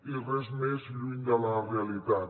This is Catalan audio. i res més lluny de la realitat